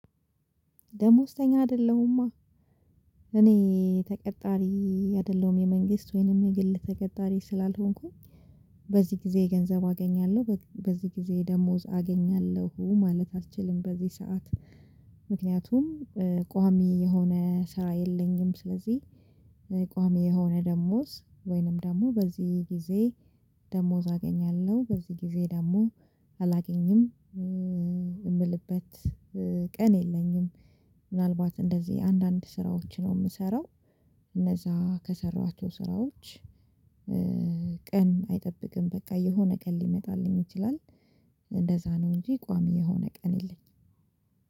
ደመወዝተኛ አይደለሁማ እኔ ተቀጣሪ አይደለሁም የመንግስት ወይም ግል ተቀጣሪ ስላልሆንኩኝ በዚህ ጊዜ ገንዘብ አገኛለሁ በዚህ ጊዜ ደመወዝ አገኛለሁ ማለት አልችልም በዚህ ሰዓት ምክንያቱም ቋሚ የሆነ ስራ የለኝም ስለዚህ ቋሚ የሆነ ደመወዝ ወይም ደግሞ በዚህ ጊዜ ደመወዝ አገኛለሁ በዚህ ጊዜ ደግሞ አላገኝም የሚልበት ቀን የለኝም ምናልባት እንደዚህ አንዳንድ ስራዎች ነው የምሰራው እነዛ ከሰራኋቸው ስራዎች ቀን አይጠብቅም በቃ የሆነ ቀን ሊመጣልኝ ይችላል እንደዛ ነው እንጂ ቋሚ የሆነ ቀን የለኝም።